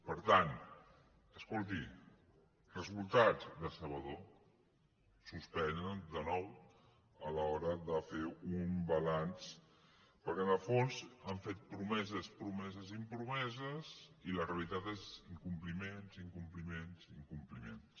per tant escolti resultats decebedor suspenen de nou a l’hora de fer un balanç perquè en el fons han fet promeses promeses i promeses i la realitat és incom·pliments incompliments i incompliments